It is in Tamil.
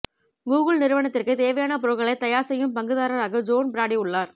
கூகுள் நிறுவனத்திற்குத் தேவையான பொருட்களைத் தயார் செய்யும் பங்குதாரராக ஜோன் பிராடி உள்ளார்